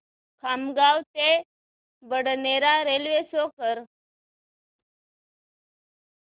खामगाव ते Badnera railway show कर